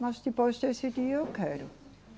Mas depois decidi, eu quero.